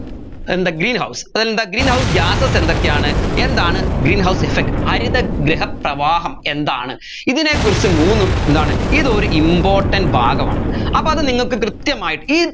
എന്താ greenhouse എന്താ greenhouse gases എന്തൊക്കെയാണ് എന്താണ് greenhouse effect ഹരിതഗൃഹ പ്രവാഹം എന്താണ് ഇതിനെ കുറിച്ച് മൂന്ന് എന്താണ് ഇതൊരു important ഭാഗമാണ് അപ്പോ അത് നിങ്ങൾക്ക് കൃത്യമായിട്ട്